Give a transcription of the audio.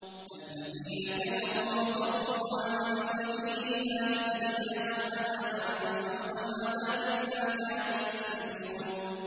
الَّذِينَ كَفَرُوا وَصَدُّوا عَن سَبِيلِ اللَّهِ زِدْنَاهُمْ عَذَابًا فَوْقَ الْعَذَابِ بِمَا كَانُوا يُفْسِدُونَ